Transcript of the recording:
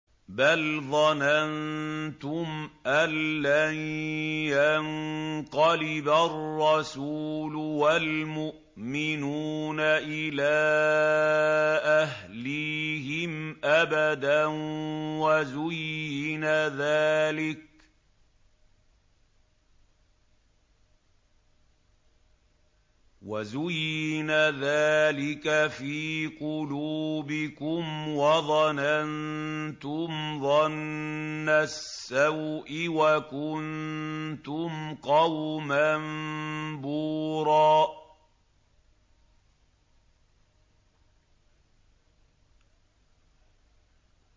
بَلْ ظَنَنتُمْ أَن لَّن يَنقَلِبَ الرَّسُولُ وَالْمُؤْمِنُونَ إِلَىٰ أَهْلِيهِمْ أَبَدًا وَزُيِّنَ ذَٰلِكَ فِي قُلُوبِكُمْ وَظَنَنتُمْ ظَنَّ السَّوْءِ وَكُنتُمْ قَوْمًا بُورًا